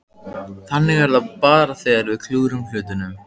Þannig er það bara þegar við klúðrum hlutunum.